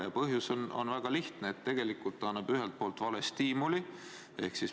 Ja põhjus on väga lihtne: tegelikult see annab ühelt poolt vale stiimuli.